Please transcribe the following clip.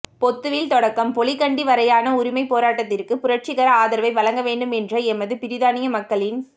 பொத்துவில் தொடக்கம் பொலிகண்டி வரையான உரிமைப் போராட்டத்திற்கு புரட்சிகர ஆதரவை வழங்கவேண்டும் என்ற எமது பிரித்தானிய மக்களின்